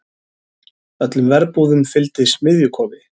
Öllum verbúðum fylgdi smiðjukofi.